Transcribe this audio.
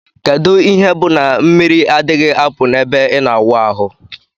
Kedu ihe bu na mmiri adighi apu na ebe ina awụ ahu?